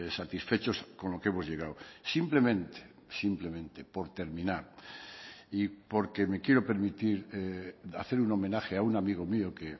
satisfechos con lo que hemos llegado simplemente simplemente por terminar y porque me quiero permitir hacer un homenaje a un amigo mío que